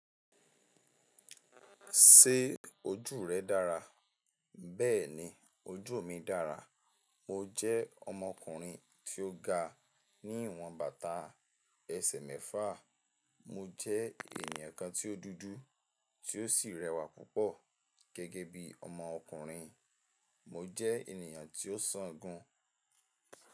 Ṣé ojú rẹ dára? Bẹ́ẹ̀ni ojú mi dára. Mo jẹ́ ọmọkùnrin tí ó ga ní ìwọ̀n bàtà ẹsẹ̀ mẹ́fà, mo jẹ́ ènìyàn kan tí ó dúdú, tí ó sì rẹwà púpọ̀ gẹ́gẹ́ bí ọmọkùnrin, mo jẹ́ ènìyàn tí ó sán igun.